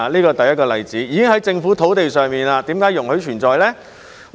車輛已經在政府土地上，為何會容許存在呢？